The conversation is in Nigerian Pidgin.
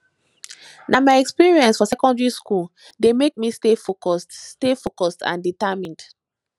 na my experience for secondary school dey make me stay focused stay focused and determined